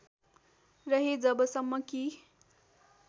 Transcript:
रहे जबसम्म कि